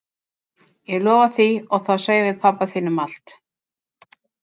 Ég lofa því og þá segjum við pabba þínum allt.